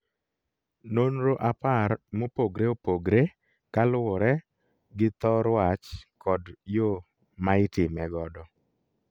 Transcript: Nonro apar mopogre opogre kaluwore gi thor wach kod yo maitime godo